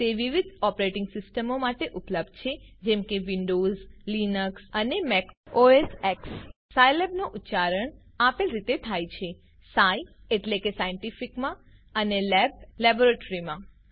તે વિવિધ ઓપરેટીંગ સીસ્ટમો ઓએસ માટે ઉપલબ્ધ છે જેમ કે વિન્ડોવ્ઝ લીનક્સ અને મેક ઓએસએક્ક્ષ સ્કિલાબ નો ઉચ્ચારણ આપેલ રીતે થાય છે સાય એટલે કે સાયન્ટીફિકમાં અને લેબ લેબોરેટરીમાં